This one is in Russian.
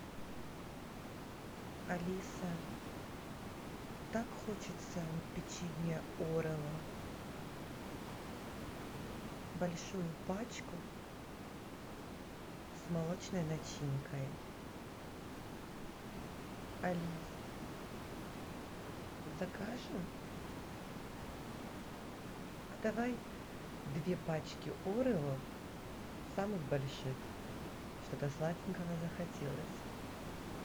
алиса так хочется печенья орео большую пачку с молочной начинкой алис закажем давай две пачки орео самых больших что то сладенького захотелось